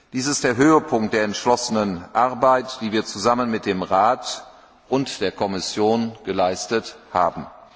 Dies ist der Höhepunkt der entschlossenen Arbeit, die wir zusammen mit dem Rat und der Kommission geleistet haben.